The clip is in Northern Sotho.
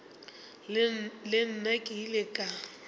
le nna ke ile ka